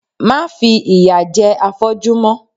Má fi ìyà jẹ afọ́jú mọ!